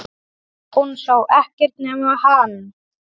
Hún sá ekkert nema hann!